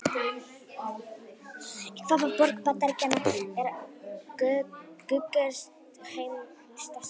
Í hvaða borg Bandaríkjanna er Guggenheim-listasafnið?